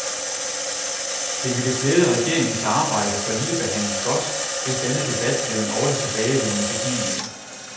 Det ville klæde regeringens arbejde for ligebehandling godt, hvis denne debat blev en årligt tilbagevendende begivenhed.